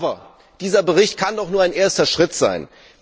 Aber dieser Bericht kann doch nur ein erster Schritt sein.